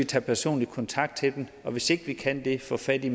tage personlig kontakt til dem og hvis ikke vi kan det få fat i